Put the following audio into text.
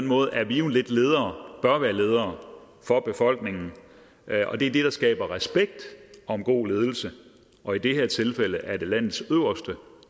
måde er vi jo lidt ledere og bør være ledere for befolkningen og det er det der skaber respekt om god ledelse og i det her tilfælde er det landets øverste